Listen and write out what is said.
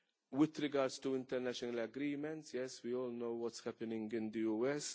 With regard to international agreements, we all know what is happening in the USA.